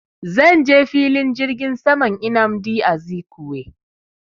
Zan je filin jirgin saman nnamdi Azikiwe